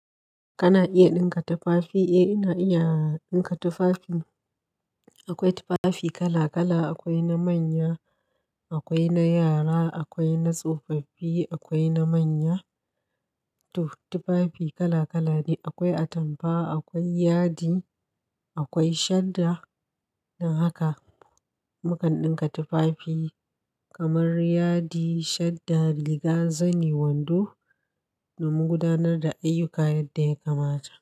Kana iya ɗinka tufafi? Eh ina iya ɗinka tufafi. Akwai tufafi kala kala, akwai na manya, akwai na yara, akwai na tsofaffi, akwai na manya. To tufafi kala kala ne, akwai atampa, akwai yadi, akwai shadda. Don haka mukan ɗinka tufafi kamar yadi, shadda, riga, zani, wando da mu gudanar da ayyuka yadda ya kamata.